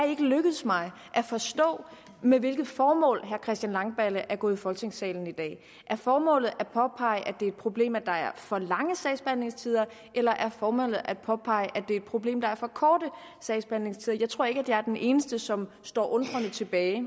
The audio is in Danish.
lykkedes mig at forstå med hvilket formål herre christian langballe er gået i folketingssalen i dag er formålet at påpege at det er et problem at der er for lange sagsbehandlingstider eller er formålet at påpege at det er et problem at der er for korte sagsbehandlingstider jeg tror ikke at jeg er den eneste som står undrende tilbage